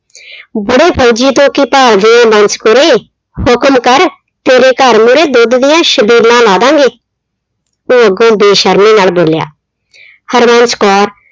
ਬੁੜੇ ਫੌਜੀ ਤੋਂ ਕੀ ਭਾਲਦੀ ਆਂ ਬੰਸ ਕੁਰੇ, ਹੁਕਮ ਕਰ ਤੇਰੇ ਘਰ ਨਿਰੇ ਦੁੱਧ ਦੀਆਂ ਛਬੀਲਾਂ ਲਾ ਦਾਂ ਗੇ। ਉਹ ਅੱਗੋਂ ਬੇਸ਼ਰਮੀ ਨਾਲ ਬੋਲਿਆ। ਹਰਬੰਸ ਕੌਰ